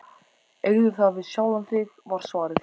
Eigðu það við sjálfan þig, var svarið.